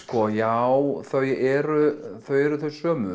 já þau eru þau eru þau sömu